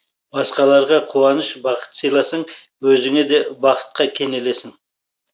басқаларға қуаныш бақыт сыйласаң өзіңе де бақытқа кенелесің